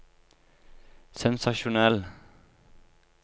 sensasjonell